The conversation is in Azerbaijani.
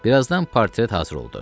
Birazdan portret hazır oldu.